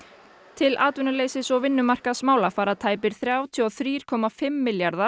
til atvinnuleysis og vinnumarkaðsmála fara tæpir þrjátíu og þrjú komma fimm milljarðar